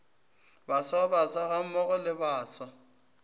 baswa baswa gammogo le baswa